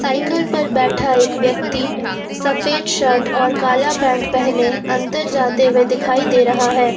Cycle पर बैठा एक व्यक्ति सफेद शर्ट और काला पैंट पहने अंदर जाते हुए दिखाई दे रहा है।